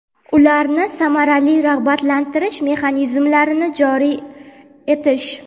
ularni samarali rag‘batlantirish mexanizmlarini joriy etish;.